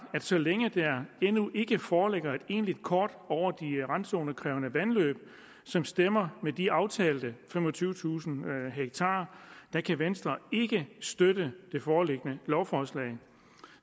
så længe der endnu ikke foreligger et egentlig kort over de randzonekrævende vandløb som stemmer med de aftalte femogtyvetusind ha kan venstre ikke støtte det foreliggende lovforslag